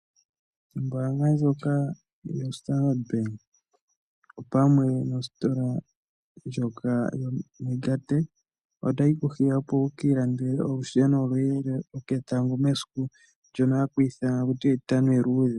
Ombaanga ndjoka yoStandard bank opamwe nositola yoMegatech otayi ku hiya, opo wu kiilandele olusheno lwoketango mesiku ndyoka hali ithanwa taku tiwa etitano eluudhe.